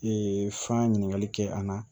fa ɲininkali kɛ an na